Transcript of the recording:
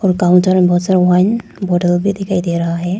Counter मे बहुत सारा वाइन बॉटल भी दिखाई दे रहा है।